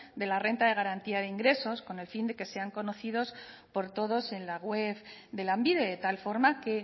de la renta de garantía de ingresos con el fin de que sean conocidos por todos en la web de lanbide de tal forma que